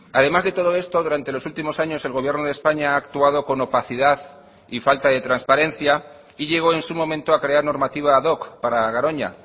además de todo esto durante los últimos años el gobierno de españa ha actuado con opacidad y falta de transparencia y llegó en su momento a crear normativa ad hoc para garoña